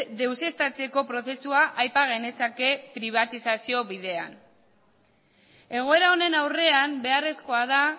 deuseztatzeko prozesua aipa genezake pribatizazio bidean egoera honen aurrean beharrezkoa da